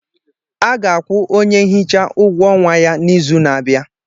A ga-akwụ onye nhicha ụgwọ ọnwa ya n'izu na-abịa.